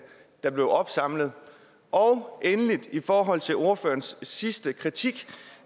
der blev opsamlet og endelig i forhold til ordførerens sidste kritik